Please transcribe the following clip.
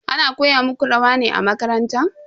Ana koya muku rawa ne a makaranta?